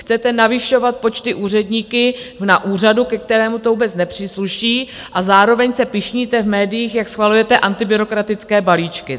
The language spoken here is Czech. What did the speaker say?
Chcete navyšovat počty úředníků na úřadu, ke kterému to vůbec nepřísluší, a zároveň se pyšníte v médiích, jak schvalujete antibyrokratické balíčky.